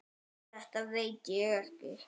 Þetta veit ekki á gott.